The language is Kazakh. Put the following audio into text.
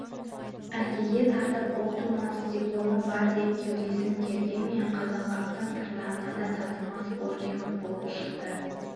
әкеге тартып ұл тумас дипломы бар деп кеудесін кергенмен қазанғаптың тырнағына да татымас боркемік болып шықты